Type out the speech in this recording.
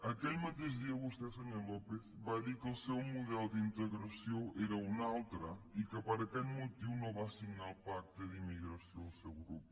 aquell mateix dia vostè senyor lópez va dir que el seu model d’integració era un altre i que per aquest motiu no va signar el pacte per a la immigració el seu grup